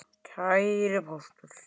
Kæri Póstur!